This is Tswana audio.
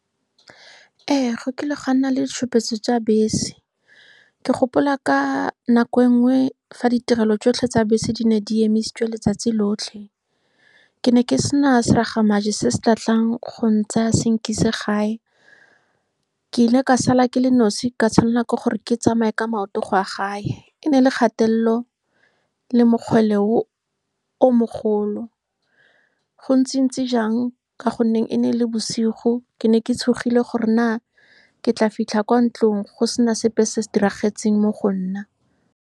Ee, go kile ga nna le ditshupetso tsa bese. Ke gopola ka nako e nngwe fa ditirelo tsotlhe tsa bese di ne di emisitswe letsatsi lotlhe. Ke ne ke sena se raga majoe se se ka tlang go ntsaya, se nkise gae. Ke ile ka sala ke le nosi, ka tshwanelwa ke gore ke tsamaye ka maoto go ya gae. E ne e le kgatelelo le mokgwele o mogolo, go ntsi-ntsi jang ka gonne e ne e le bosigo. Ke ne ke tshogile gore na ke tla fitlha kwa ntlong go sena sepe se se diragetseng mo go nna.